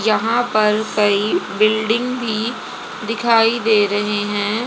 यहां पर कई बिल्डिंग भी दिखाई दे रहे हैं।